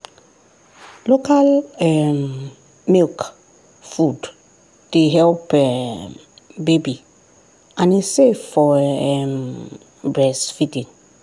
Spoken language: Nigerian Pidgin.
local um milk food dey help um baby and e safe for um breastfeeding.